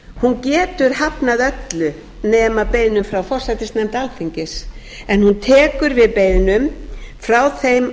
hún getur hafnað öllu nema beiðnum frá forsætisnefnd alþingis en hún tekur við beiðnum frá þeim